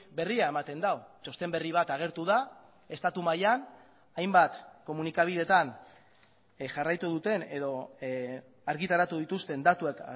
berria ematen du txosten berri bat agertu da estatu mailan hainbat komunikabideetan jarraitu duten edo argitaratu dituzten datuak